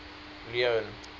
leone